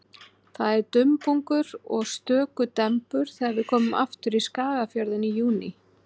Það er dumbungur og stöku dembur þegar við komum aftur í Skagafjörðinn í júní.